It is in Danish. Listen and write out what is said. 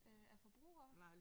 Øh af forbruger?